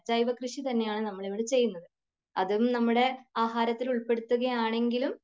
ജൈവകൃഷി തന്നെയാണ് നമ്മളിവിടെ ചെയ്യുന്നത്. അതും നമ്മുടെ ആഹാരത്തിൽ ഉൾപ്പെടുത്തുകയാണെങ്കിലും